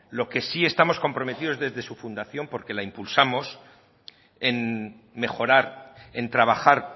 lo que sí estamos comprometidos desde su fundación porque la impulsamos en mejorar en trabajar